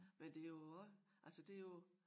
Men det jo også altså det jo